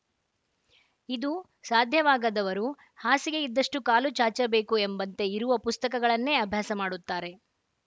ಇದು ಸಾಧ್ಯವಾಗದವರು ಹಾಸಿಗೆ ಇದ್ದಷ್ಟುಕಾಲು ಚಾಚಬೇಕು ಎಂಬಂತೆ ಇರುವ ಪುಸ್ತಕಗಳನ್ನೆ ಅಭ್ಯಾಸ ಮಾಡುತ್ತಾರೆ